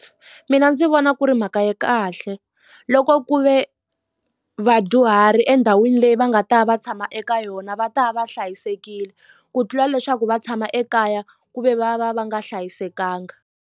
Mina ndzi vona ku ri mhaka ya kahle loko ku ve vadyuhari endhawini leyi va nga ta va va tshama eka yona va ta va va hlayisekile ku tlula leswaku va tshama ekaya ku ve va va va nga hlayisekanga.